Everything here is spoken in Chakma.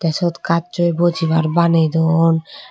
sot gassoi bujibar baney duon.